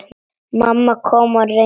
Mamma kom og reyndi.